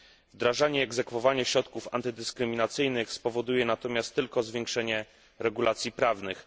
Wdrażanie i egzekwowanie środków antydyskryminacyjnych spowoduje natomiast tylko zwiększenie regulacji prawnych.